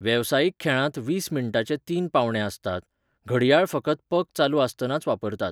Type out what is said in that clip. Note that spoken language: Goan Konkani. वेवसायीक खेळांत वीस मिण्टांचे तीन पावंडे आसतात, घडयाळ फकत पक चालू आसतनाच वापरतात.